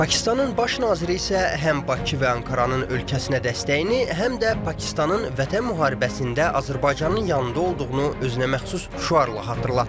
Pakistanın baş naziri isə həm Bakı və Ankaranın ölkəsinə dəstəyini, həm də Pakistanın vətən müharibəsində Azərbaycanın yanında olduğunu özünəməxsus şüarla xatırlatdı.